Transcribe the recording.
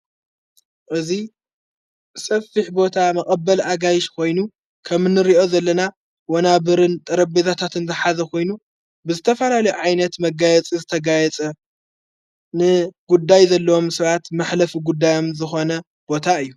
እዙይ ሰፊሕ ቦታ መቐበል ኣጋይሽ ኾይኑ ከምንርእኦ ዘለና ወናብርን ጠረቤታታትን ዘሓዘ ኾይኑ ብዝተፋራል ዓይነት መጋየጽ ዝተጋየጸ ጉዳይ ዘለዎም ስባት መኅለፍ ጉዳዮም ዝኾነ ቦታ እዩ።